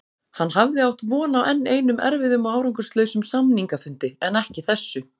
Hann hafði átt von á enn einum erfiðum og árangurslausum samningafundi en ekki þessu.